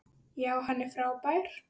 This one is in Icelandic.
Já, hann er frábær.